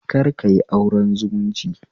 Kar kayi auren zumunci